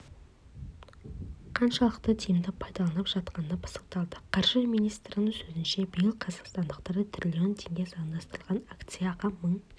қаншалықты тиімді пайдаланылып жатқаны пысықталды қаржы министрінің сөзінше биыл қазақстандықтар триллион теңге заңдастырған акцияға мың